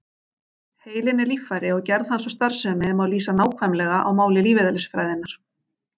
Heilinn er líffæri og gerð hans og starfsemi má lýsa nákvæmlega á máli lífeðlisfræðinnar.